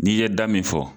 N'i ye da min fɔ